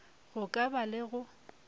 go ka ba le go